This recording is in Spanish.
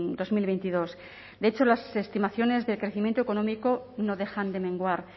dos mil veintidós de hecho las estimaciones de crecimiento económico no dejan de menguar